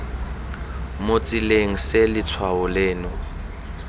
mo tseleng se letshwao leno